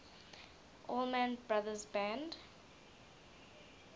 allman brothers band